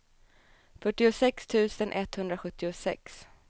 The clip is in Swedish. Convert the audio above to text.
fyrtiosex tusen etthundrasjuttiosex